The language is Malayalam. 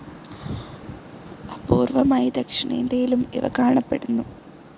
അപൂർവമായി ദക്ഷിണേന്ത്യയിലും ഇവ കാണപ്പെടുന്നു.